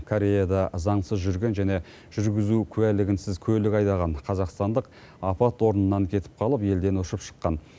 кореяда заңсыз жүрген және жүргізу куәлігінсіз көлік айдаған қазақстандық апат орнынан кетіп қалып елден ұшып шыққан